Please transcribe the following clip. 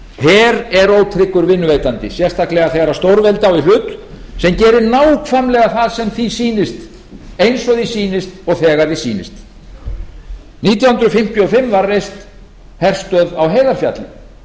her er ótryggur vinnuveitandi sérstaklega þegar stórveldi á í hlut sem gerir nákvæmlega það sem því sýnist eins og því sýnist og þegar því sýnist árið nítján hundruð fimmtíu og fimm var reist herstöð á heiðarfjalli